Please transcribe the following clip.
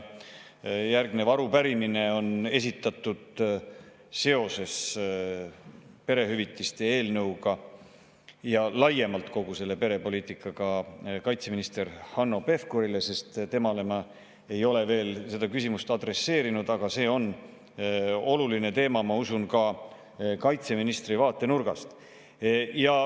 Järgnev arupärimine on esitatud seoses perehüvitiste seaduse eelnõuga ja laiemalt kogu selle perepoliitikaga kaitseminister Hanno Pevkurile, sest temale ma ei ole veel seda küsimust adresseerinud, aga see on oluline teema, ma usun, ka kaitseministri vaatenurgast.